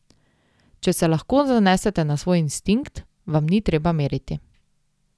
Če se lahko zanesete na svoj instinkt, vam ni treba meriti.